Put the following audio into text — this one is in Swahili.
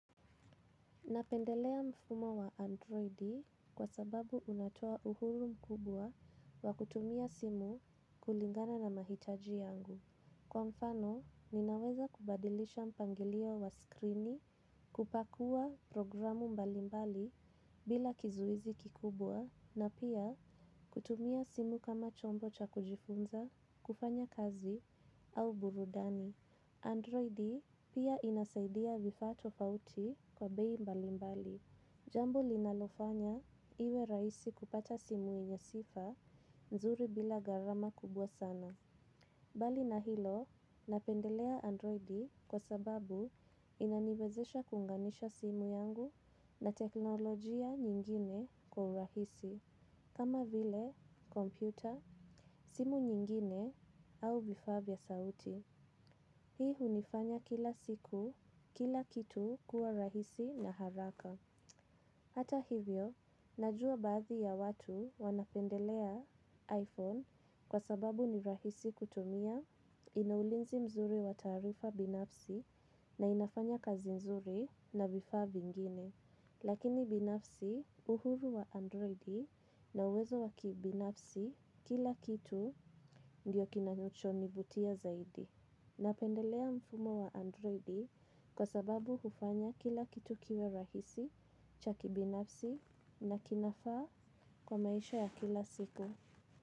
Napendelea mfumo wa androidi kwa sababu unatoa uhuru mkubwa wa kutumia simu kulingana na mahitaji yangu. Kwa mfano, ninaweza kubadilisha mpangilio wa screeni kupakua programu mbali mbali bila kizuizi kikubwa na pia kutumia simu kama chombo cha kujifunza, kufanya kazi au burudani. Android pia inasaidia vifa tofauti kwa bei mbali mbali. Jambo linalofanya iwe raisi kupata simu yenye sifa nzuri bila garama kubwa sana. Bali na hilo napendelea androidi kwa sababu inaniweza kuunganisha simu yangu na teknologia nyingine kwa urahisi. Kama vile, kompyuta, simu nyingine au vifa vya sauti. Hii unifanya kila siku, kila kitu kuwa rahisi na haraka. Hata hivyo, najua baadhi ya watu wanapendelea iPhone kwa sababu ni rahisi kutumia, inaulinzi mzuri wa tarifa binafsi na inafanya kazi mzuri na vifaa vingine. Lakini binafsi uhuru wa Androidi na uwezo waki binafsi kila kitu ndiyo kinacho nivutia zaidi. Napendelea mfumo wa androidi kwa sababu hufanya kila kitu kiwe rahisi, chaki binafsi na kinafa kwa maisha ya kila siku.